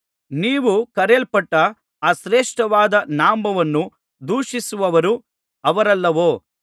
ನೀವು ಕರೆಯಲ್ಪಟ್ಟ ಆ ಶ್ರೇಷ್ಠವಾದ ನಾಮವನ್ನು ದೂಷಿಸುವವರು ಅವರಲ್ಲವೋ